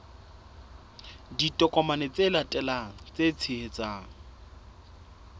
ditokomane tse latelang tse tshehetsang